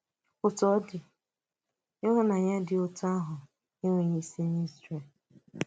Òtù ọ dị, ịhụnànyà dị otú ahụ ànweghị isi n’Ízrel.